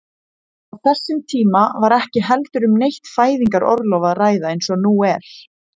Á þessum tíma var ekki heldur um neitt fæðingarorlof að ræða eins og nú er.